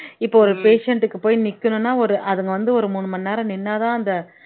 இப்போ ஒரு patient க்கு போய் நிக்கணும்ன்னா ஒரு அதுங்க வந்து ஒரு மூணு மணி நேரம் நின்னாதான் அந்த